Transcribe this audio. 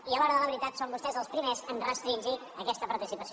i a l’hora de la veritat són vostès els primers a restringir aquesta participació